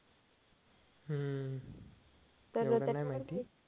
हम्म एवढं नाही माहिती